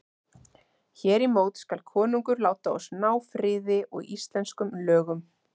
Hér í mót skal konungur láta oss ná friði og íslenskum lögum.